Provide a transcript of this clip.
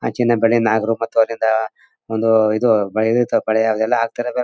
ಆ ಚಿನ್ನ ಬಳೆ ನಾಗರು ಬತ್ತು ವಲೆ ಯಿಂದ ಒಂದು ಇದು ಬಳೆ ಇದು ಬಳೆ ಎಲ್ಲ ಹಾಕ್ತಾರೆ.